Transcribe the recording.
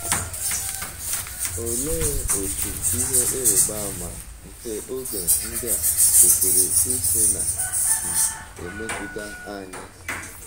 Olee otú “ ihe ịrịba ama nke oge ndị a ” kwesịrị isi na - um emetụta anyị?